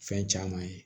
Fɛn caman ye